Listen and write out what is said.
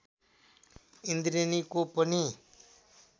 इन्द्रेणीको पनि